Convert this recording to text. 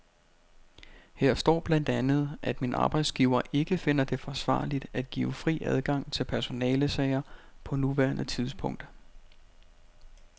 Her står blandt andet, at min arbejdsgiver ikke finder det forsvarligt at give fri adgang til personalesager på nuværende tidspunkt.